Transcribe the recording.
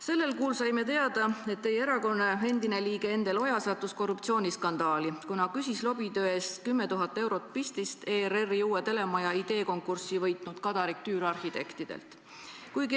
Sellel kuul saime teada, et teie erakonna endine liige Endel Oja sattus korruptsiooniskandaali, kuna küsis lobitöö eest 10 000 eurot pistist ERR-i uue telemaja ideekonkursi võitnud Kadarik Tüür Arhitektid OÜ-lt.